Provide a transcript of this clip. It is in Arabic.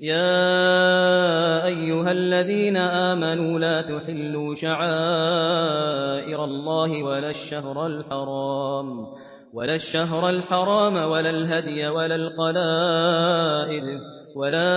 يَا أَيُّهَا الَّذِينَ آمَنُوا لَا تُحِلُّوا شَعَائِرَ اللَّهِ وَلَا الشَّهْرَ الْحَرَامَ وَلَا الْهَدْيَ وَلَا الْقَلَائِدَ وَلَا